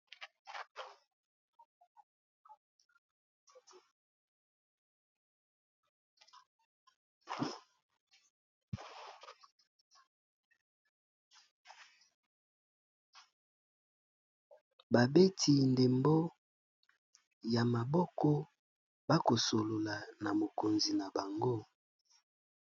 Babeti ndembo ya maboko ba kosolola na mokonzi na bango.